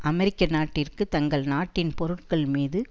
அமெரிக்க நாட்டிற்கு தங்கள் நாட்டின் பொருட்கள் மீது